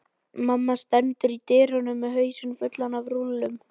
Mamma stendur í dyrunum með hausinn fullan af rúllum.